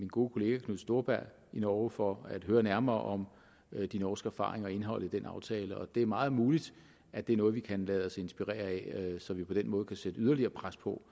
gode kollega knut storberget i norge for at høre nærmere om de norske erfaringer og indholdet i den aftale og det er meget muligt at det er noget vi kan lade os inspirere af så vi på den måde kan sætte yderligere pres på